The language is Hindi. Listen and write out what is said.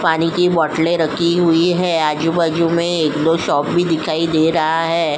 पानी की बोतले रखी हुई है आजू- बाजू में एक दो शॉप भी दिखाई दे रहा है।